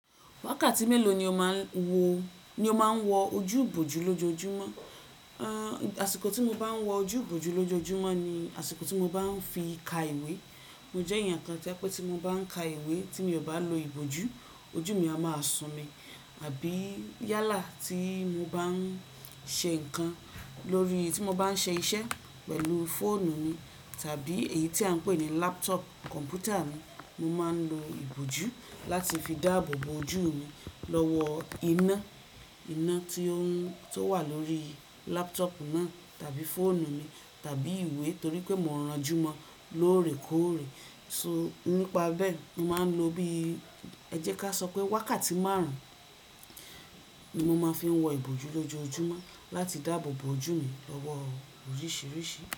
Wákàtí mélòó ni ó máa ń wo, ni ó máa ń wọ ojú ìbòjú lójoójúmọ́? Àṣìkò tí mo bá ń wọ ojú ìbòjú lójoójúmọ́ ni àsìkò tí mo bá ń fi ka ìwé. Mo jẹ́ èèyàn kan tí ẹ pé tí mo bá ń ka ìwé tí mi ò bá lo ìbòjú, ojú mi a máa sún mi. Àbí yálà tí mo bá ń ṣe nǹkan lórí, tí mo bá ń ṣe iṣẹ́ pẹ̀lú fóònù mi tàbí èyí tí à ń pè ní laptop kọ̀mpútà mi, mo máa ń lo ìbòjú láti fi dáàbòbo ojú mi lọ́wọ́ iná, iná tí ó ń, tó wà lórí laputọ̀ọ́pú náà tàbí fóònù mi tàbí ìwé torí pé mò ń ranjúmọ́ lóòrèkóòrè. So nípa bẹ́ẹ̀, mo máa ń lo bí, ẹ jẹ́ ká sọ pé wákàtí márùn-ún ni mo máa ń fi wọ ìbòjú lójoójúmọ́ láti dáàbòbo ojú mi lọ́wọ́ oríṣìíríṣìí.